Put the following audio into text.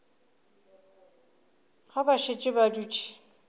ge ba šetše ba dutše